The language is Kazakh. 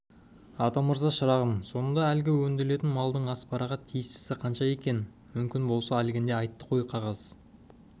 атамырза шырағым сонда әлгі өндірілетін малдың аспараға тиістісі қанша екен мүмкін болса әлгінде айтты ғой қағаз